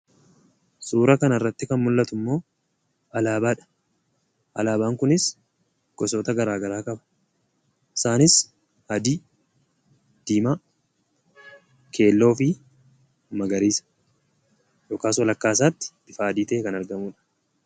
Suuraa kanarratti kan mul'atu immoo, alaabaadha. alaabaan kunis gosoota garaagaraa qaba. isaaniis, adii, diimaa, keelloo fi magariisa yookaan walakkaa isaatti bifa adii ta'een kan argamudha.